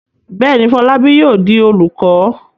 Bẹ́ẹ̀ ni, Fọlábí yóò di olùkọ́.